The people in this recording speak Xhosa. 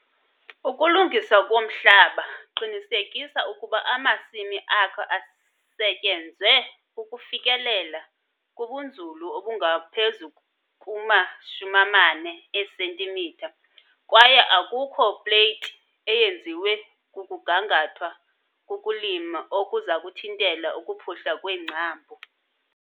Ukulungisa umhlaba - qinisekisa ukuba amasimi akho asetyenzwe ukufikelela kubunzulu obungaphezu kuma-40 cm kwaye akukho pleyiti eyenziwe kukugangathwa kukulima okuza kuthintela ukuphuhla kweengcambu.